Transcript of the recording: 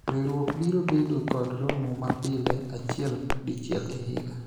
riwruok biro bedo kod romo ma pile achiel dichiel e higa